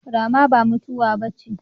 Rama ba mutuwa bace